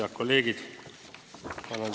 Head kolleegid!